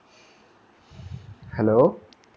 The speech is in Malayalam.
Hello